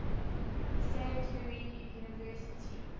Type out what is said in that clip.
saint louis university